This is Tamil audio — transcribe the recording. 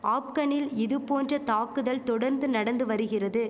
ஆப்கனில் இது போன்ற தாக்குதல் தொடந்து நடந்து வரிகிறது